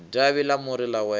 davhi ḽa muri ḽa wela